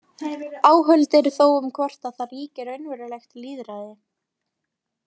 Áhöld eru þó um hvort að þar ríki raunverulegt lýðræði.